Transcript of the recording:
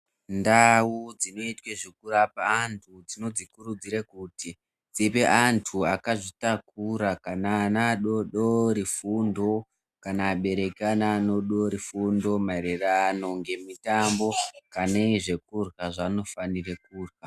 Ndau dzinoitwe zvekurapa antu tinodzikurudzire kuti dzipe antu akazvitakura kana ana adoodori fundo kana abereki eana adoodori fundo maererano ngemitambo pane zvekurya zvaanofanire kurya